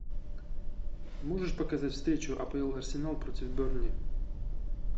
можешь показать встречу апл арсенал против бернли